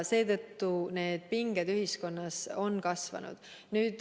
Seetõttu on pinged ühiskonnas kasvanud.